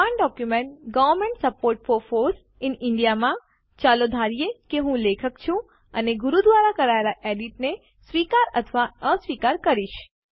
સમાન document government support for foss in India માં ચાલો ધારીએ કે હું લેખક છું અને હું ગુરુ દ્વારા કરાયેલ એડિટ ને સ્વીકાર અથવા અસ્વીકાર કરીશ